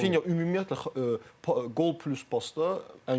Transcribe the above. Rafinia ümumiyyətlə qol plus pasta ən yüksəkdir.